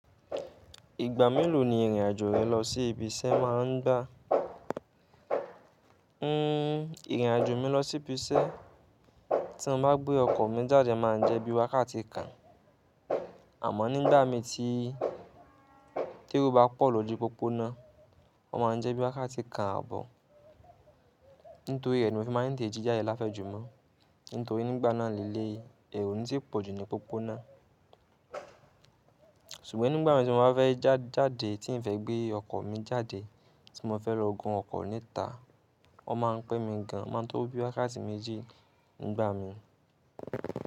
Ìgbà mélòó ni ìrìn àjò rẹ lọ sí ibi iṣẹ́ máa ń gbá? Ìrìn àjò mi lọ sí ibi iṣẹ́ tí mo bá gbé ọkọ̀ mi jáde máa ń jẹ́ bí wákàtí kan, àmọ́ nígbàmi tí ero bá pọ̀ lójo popona, ó máa ń jẹ́ bí wákàtí kan ààbọ̀. Nítoríre ni mo n fi tete jì jade láfẹ̀ jù mó. Nítorí nígbà náà líle èro oni tí pọ̀jù ní popona. Ṣùgbọ́n nígbà mi tí mo bá fẹ́ jáde tín n fẹ́ gbé ọkọ̀ mi jáde, tí mo fẹ́ lọ gun ọkọ̀ níta, ọ́ máa ń pé mi gan, o máa ń tó bí wákàtí méjì nígbà mi.